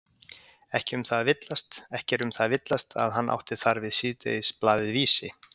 Ekki er um það að villast, að hann átti þar við síðdegisblaðið Vísi.